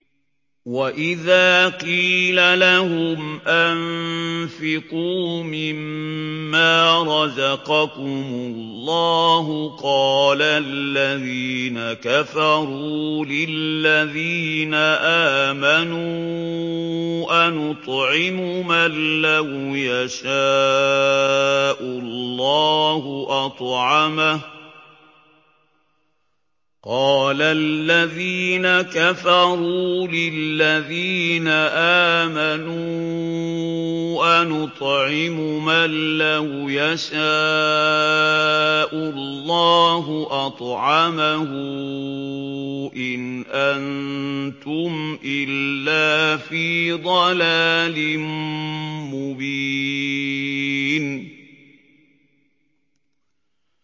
وَإِذَا قِيلَ لَهُمْ أَنفِقُوا مِمَّا رَزَقَكُمُ اللَّهُ قَالَ الَّذِينَ كَفَرُوا لِلَّذِينَ آمَنُوا أَنُطْعِمُ مَن لَّوْ يَشَاءُ اللَّهُ أَطْعَمَهُ إِنْ أَنتُمْ إِلَّا فِي ضَلَالٍ مُّبِينٍ